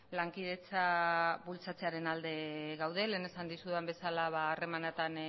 lankidetza bultzatzearen alde gaude lehen esan dizudan bezala harremanetan